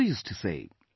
She also used to say